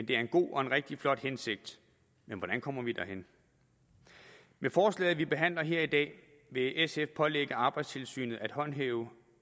det er en god og en rigtig flot hensigt men hvordan kommer vi derhen med forslaget som vi behandler her i dag vil sf pålægge arbejdstilsynet at håndhæve